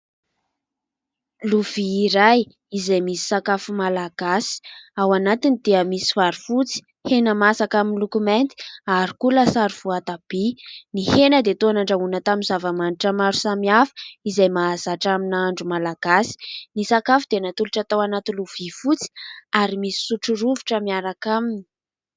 lovi iray izay misy sakafo malagasy ao anatiny dia misy farofotsy hena mahasaka amin'ny lokomenty ary koa lasarofoatabia ny hena dia toanan-drahoana tamin'ny zavamanitra maro samy hafa izay mahazatra amina andro malagasy ny sakafo dia natolotra tao anaty lovia fotsy ary misy sotrorovotra miaraka aminy